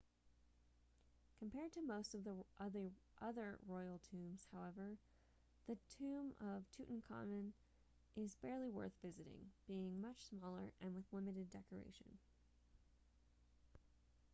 compared to most of the other royal tombs however the tomb of tutankhamun is barely worth visiting being much smaller and with limited decoration